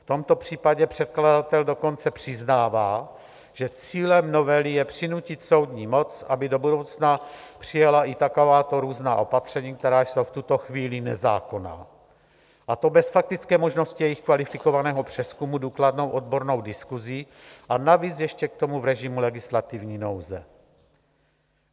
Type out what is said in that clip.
V tomto případě předkladatel dokonce přiznává, že cílem novely je přinutit soudní moc, aby do budoucna přijala i takováto různá opatření, která jsou v tuto chvíli nezákonná, a to bez faktické možnosti jejich kvalifikovaného přezkumu důkladnou odbornou diskusí, a navíc ještě k tomu v režimu legislativní nouze.